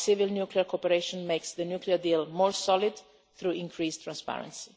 Our civil nuclear cooperation makes the nuclear deal more solid through increased transparency.